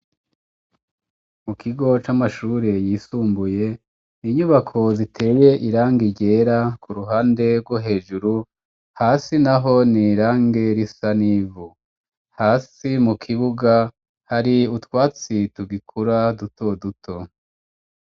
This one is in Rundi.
Mu kigo c'amashure yisumbuye inyubako ziteye irangi ryera ku ruhande rwo hejuru hasi naho ni irangi risa n'ivu. Hasi mu kibuga hari utwatsi tugikura dutoduto.